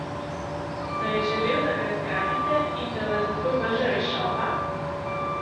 Da je želel, da ga zgrabite in da vas zato vržejo iz šova?